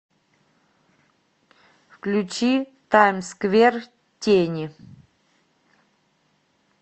включи таймсквер тени